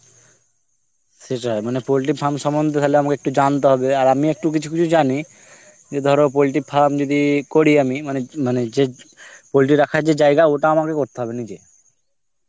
সেটাই মানে poultry farm সম্বন্ধে তালে আমাকে একটু জানতে হবে, আর আমি একটু কিছু কিছু জানি যে ধরো poultry farm যদি করি আমি মানে মানে যে poultry রাখার যে জায়গা ওটা আমাকে করতে হবে নিজে.